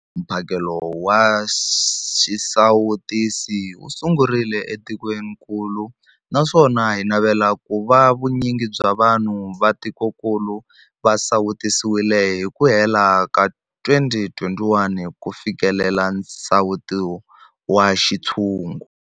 Mphakelo wa xisawutisi wu sungurile etikwenikulu naswona hi navela ku va vu nyingi bya vanhu va tikokulu va sawutisiwile hi ku hela ka 2021 ku fikelela nsawuto wa xintshungu.